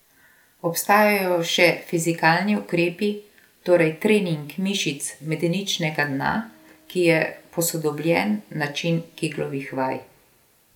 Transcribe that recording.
Obstajajo še fizikalni ukrepi, torej trening mišic medeničnega dna, ki je posodobljen način keglovih vaj.